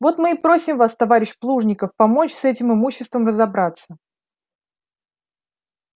вот мы и просим вас товарищ плужников помочь с этим имуществом разобраться